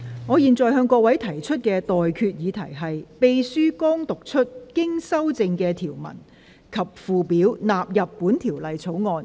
我現在向各位提出的待決議題是：秘書剛讀出經修正的條文及附表納入本條例草案。